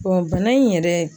bana in yɛrɛ